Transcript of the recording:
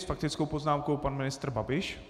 S faktickou poznámkou pan ministr Babiš.